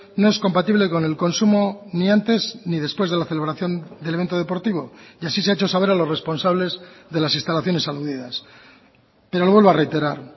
no es compatible con el consumo ni antes ni después de la celebración del evento deportivo y así se ha hecho saber a los responsables de las instalaciones aludidas pero lo vuelvo a reiterar